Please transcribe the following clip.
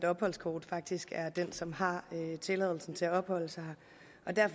opholdskort faktisk er den som har tilladelsen til at opholde sig